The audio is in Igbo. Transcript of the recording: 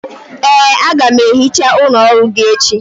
ee, a ga m ehicha ụlọ ọrụ gị echi